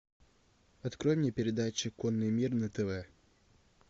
открой мне передачу конный мир на тв